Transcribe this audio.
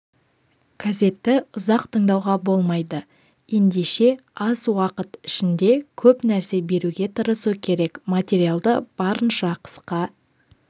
газетті ұзақ тыңдауға болмайды ендеше аз уақыт ішінде көп нәрсе беруге тырысу керек материалды барынша қысқа